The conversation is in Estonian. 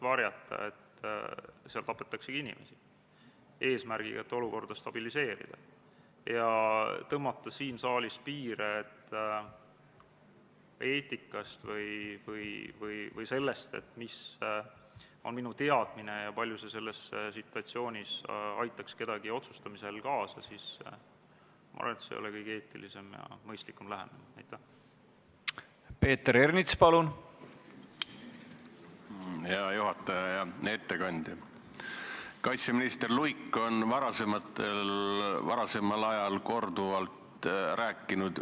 Lähtudes asjaolust, et UNIFIL-is osalemine aitab kaasa julgeoleku ja stabiilsuse tugevdamisele nii Lähis-Idas kui ka mujal maailmas ning ÜRO missioonidel osalemine tuleneb ka Eesti ÜRO-liikmesusest, otsustas riigikaitsekomisjon oma k.a 21. oktoobri istungil konsensuslikult, et eelnõu esitatakse teiseks lugemiseks Riigikogu täiskogu päevakorda k.a 6. novembriks.